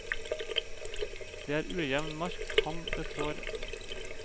Det er ujevn mark han betrår.